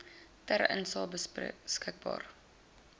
ter insae beskikbaar